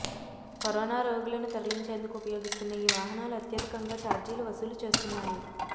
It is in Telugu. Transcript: కరోనా రోగులను తరలించేందుకు ఉపయోగిస్తున్న ఈ వాహనాలు అత్యధికంగా చార్జీలు వసూలు చేస్తున్నాయి